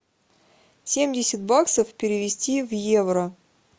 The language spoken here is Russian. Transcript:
семьдесят баксов перевести в евро